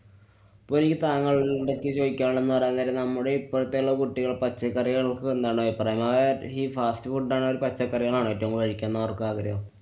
ഇപ്പോയീ താങ്കള്‍ടെ അടുത്ത് ചോയ്ക്കാനുള്ളതെന്നു പറയാന്‍ നേരം നമ്മുടെ ഇപ്പോഴത്തെള്ള കുട്ടികള്‍ പച്ചക്കറി എന്താണ് അഭിപ്രായം? ഈ fast food ആണോ, പച്ചക്കറികളാണോ ഏറ്റവും കൂടുതല്‍ കഴിക്കണംന്നവര്‍ക്കു ആഗ്രഹം?